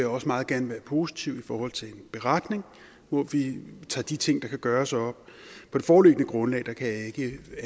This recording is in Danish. også meget gerne være positiv i forhold til en beretning hvor vi tager de ting der kan gøres op på det foreliggende grundlag kan jeg ikke